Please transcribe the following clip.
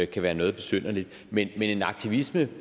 kan være noget besynderligt men en aktivisme